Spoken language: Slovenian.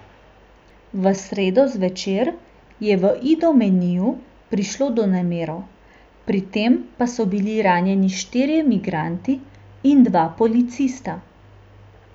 V sredo zvečer je v Idomeniju prišlo do nemirov, pri tem pa so bili ranjeni štirje migranti in dva policista.